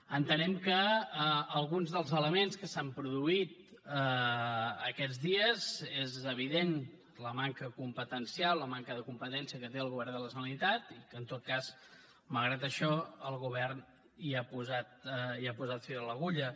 entenem que amb alguns dels elements que s’han produït aquests dies és evident la manca competencial la manca de competència que té el govern de la generalitat i que en tot cas malgrat això el govern hi ha posat fil a l’agulla